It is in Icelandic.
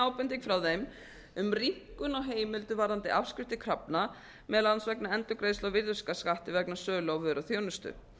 ábending frá þeim um rýmkun á heimildum varðandi afskriftir krafna meðal annars vegna endurgreiðslu á virðisaukaskatti vegna sölu á vöru og þjónustu